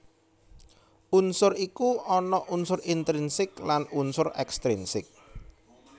Unsur iku ana unsur intrinsik lan unsur ekstrinsik